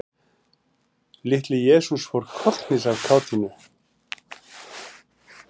Litli-Jesús fór kollhnís af kátínu.